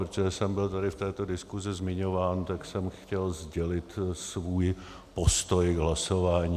Protože jsem byl tady v této diskusi zmiňován, tak jsem chtěl sdělit svůj postoj k hlasování.